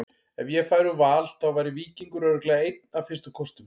Ef ég færi úr Val þá væri Víkingur örugglega einn af fyrstu kostum.